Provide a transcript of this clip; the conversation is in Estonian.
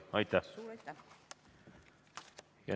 Suur aitäh!